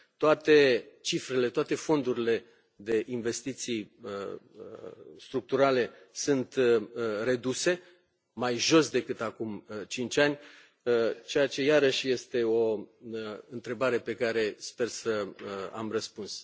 Toate cifrele, toate fondurile de investiții structurale sunt reduse, mai jos decât acum cinci ani, ceea ce iarăși este o întrebare la care sper să am răspuns.